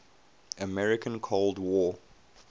american cold war